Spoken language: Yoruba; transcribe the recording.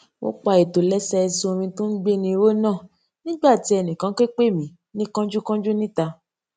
mo pa ìtòlésẹẹsẹ orin tó ń gbéni ró náà nígbà tí ẹnì kan ké pè mí ní kánjúkánjú níta